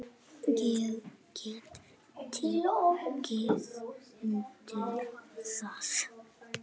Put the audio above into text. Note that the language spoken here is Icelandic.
Ég get tekið undir það.